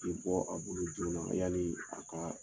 I bɔ, a bolo joona, yani a ka